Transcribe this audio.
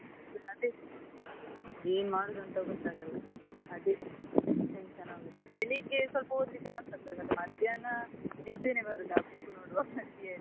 ಅದೇ ಏನ್ ಮಾಡುದು ಅಂತ ಗೊತ್ತಾಗಲ್ಲ ಅದೇ tension ಆಗುದು ಬೆಳಿಗ್ಗೆ ಸ್ವಲ್ಪ ಓದ್ಲಿಕ್ಕೆ ಮಾತ್ರ ಮನ್ಸಾಗ್ತದೆ ಮತ್ತೆ ಮಧ್ಯಾಹ್ನ ನಿದ್ದೆನೇ ಬರುದು ಆ book ನೋಡ್ವಾಗ ನನಿಗೆ .